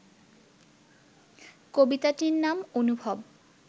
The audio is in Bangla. কবিতাটির নাম অনুভব